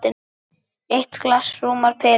Eitt glas rúmar pelinn.